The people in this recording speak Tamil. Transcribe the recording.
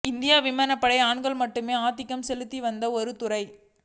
இந்திய விமானப்படை ஆண்கள் மட்டுமே ஆதிக்கம் செலுத்தி வந்த ஒரு துறை